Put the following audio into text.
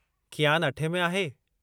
कियान अठें में आहे।